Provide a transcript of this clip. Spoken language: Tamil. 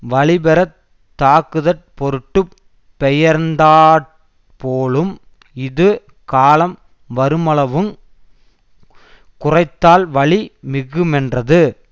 வலிபெறத் தாக்குதற் பொருட்டு பெயர்ந்தாற் போலும் இது காலம் வருமளவுங் குறைத்தால் வலி மிகுமென்றது